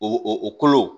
O o kolo